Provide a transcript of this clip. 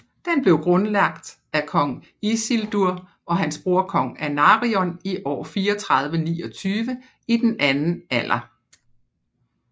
Den blev grundlagt af kong Isildur og hans bror kong Anarion i år 3429 i den Anden Alder